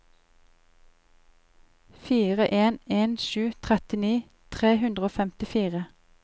fire en en sju trettini tre hundre og femtifire